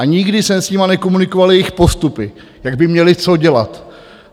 A nikdy jsem s nimi nekomunikoval jejich postupy, jak by měly co dělat.